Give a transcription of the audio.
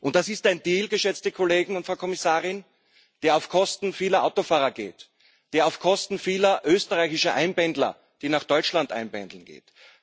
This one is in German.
Das ist ein Deal, geschätzte Kollegen und Frau Kommissarin, der auf Kosten vieler Autofahrer geht, der auf Kosten vieler österreichischer Einpendler, die nach Deutschland einpendeln, geht.